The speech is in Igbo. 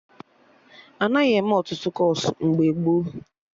Anaghị eme Ọtụtụ kọọsụ mgbe gboo